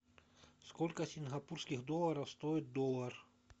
сколько сингапурских долларов стоит доллар